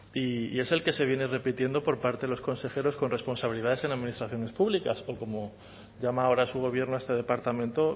y es el que se viene repitiendo por parte de los consejeros con responsabilidades en administraciones públicas o como llama ahora su gobierno a este departamento